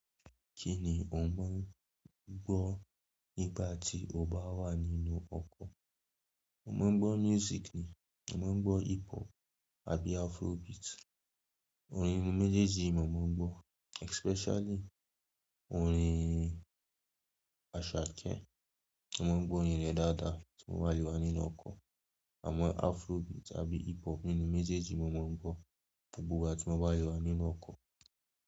Kí ni o ń gbọ́ nígbà tí o bá wà nínú ọkọ̀? Mo máa ń gbọ́ music ni. Mo máa ń gbọ́ hip hop àbí Afrobeat. Orin méjèèjì yìí mo máa ń gbọ́. Especially orin Asake. Mo máa ń gbọ́ orin rẹ̀ dáadáa tí mo bá lè wà nínú ọkọ̀. Àmọ́ Afrobeat tàbí hip hop nínú méjèèjì ni mo máa ń gbọ́ gbogbo ìgbà tí mo bá ti wà nínú ọkọ̀.